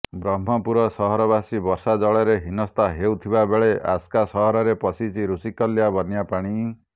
ବ୍ରହ୍ମପୁର ସହରବାସୀ ବର୍ଷା ଜଳରେ ହିନସ୍ତା ହେଉଥିବା ବେଳେ ଆସ୍କା ସହରରେ ପଶିଛି ଋଷିକୁଲ୍ୟା ବନ୍ୟା ପାଣି